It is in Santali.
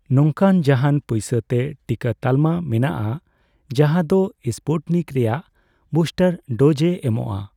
ᱱᱚᱝᱠᱟᱱ ᱡᱟᱦᱟᱸᱱ ᱯᱚᱭᱥᱟ ᱛᱮ ᱴᱤᱠᱟᱹ ᱛᱟᱞᱢᱟ ᱢᱮᱱᱟᱜᱼᱟ ᱡᱟᱦᱟᱸ ᱫᱳ ᱥᱯᱩᱴᱱᱤᱠ ᱨᱮᱭᱟᱜ ᱵᱩᱥᱴᱟᱨ ᱰᱳᱡ ᱮ ᱮᱢᱚᱜᱽᱚᱜᱼᱟ